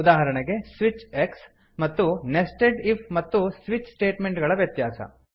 ಉದಾಹರಣೆಗೆ160 switch X ಮತ್ತು nested if ಮತ್ತು switch statement ಗಳ ವ್ಯತ್ಯಾಸ